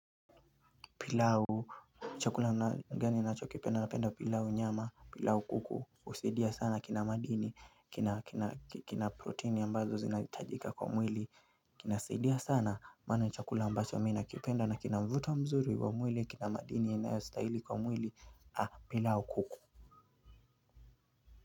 Pilau, chakula gani unachokupenda? Napenda pilau nyama, pilau kuku, husaidia sana kina madini, kina kina proteini ambazo zinahitajika kwa mwili, kinasaidia sana maana ni chakula ambacho mi nakipenda na kina mvuto mzuri wa mwili, kina madini, inayo stahili kwa mwili, pilau kuku.